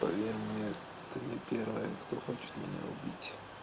поверь мне ты не первая кто хочет меня убить